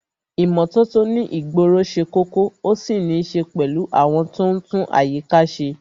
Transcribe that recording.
ìmótótó ní ìgboro se kókó,o sì nì se pèlú àwon to n tún àyíká se